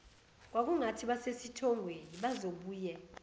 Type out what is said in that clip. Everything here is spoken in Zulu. kwakungathi basesithongweni bazobuye